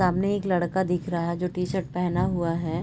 सामने एक लड़का दिख रहा है जो टी-शर्ट पहना हुआ है